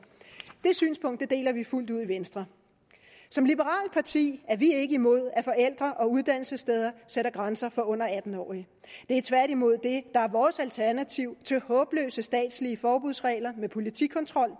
det synspunkt deler vi fuldt ud i venstre som liberalt parti er vi ikke imod at forældre og uddannelsessteder sætter grænser for under atten årige det er tværtimod det der er vores alternativ til håbløse statslige forbudsregler med politikontrol